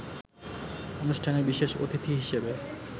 অনুষ্ঠানে বিশেষ অতিথি হিসেবে